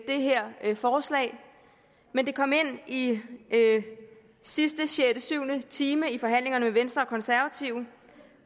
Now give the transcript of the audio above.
det her forslag men det kom ind i sidste sjette syv time i forhandlingerne med venstre og konservative